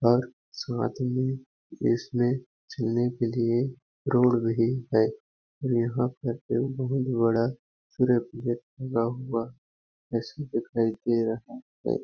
और साथ में इसमें छिलने के लिए रोड भी है यहाँ पर बहुत बड़ा हुवा जैसा दिखाई दे रहा हैं।